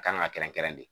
A kan ka kɛrɛn kɛrɛn